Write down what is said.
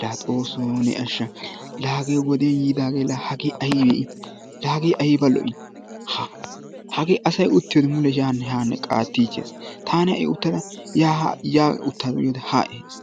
La Xoosso ne ashsha! La hage wodiyaan yiidagee hagee aybbe la hagee uttiyoode mule yaanne hanne qaartichchees. Taani ha'i uttada ya utta gitoode ha ehees.